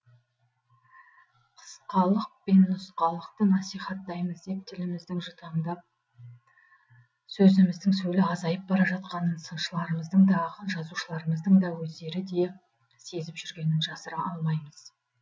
қысқалық пен нұсқалықты насихаттаймыз деп тіліміздің жұтаңданып сөзіміздің сөлі азайып бара жатқанын сыншыларымыздың да ақын жазушыларымыздың өздері де сезіп жүргенін жасыра алмаймыз